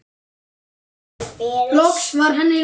Loks var henni lokið.